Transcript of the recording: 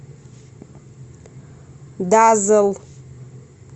дазэл